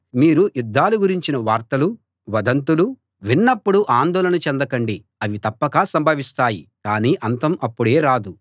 మీరు యుద్ధాల గురించిన వార్తలు వదంతులు విన్నప్పుడు ఆందోళన చెందకండి అవి తప్పక సంభవిస్తాయి కాని అంతం అప్పుడే రాదు